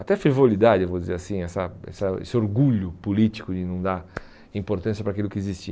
até fervoridade, eu vou dizer assim, essa essa esse orgulho político de não dar importância para aquilo que existia.